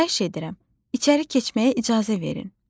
Xahiş edirəm, içəri keçməyə icazə verin.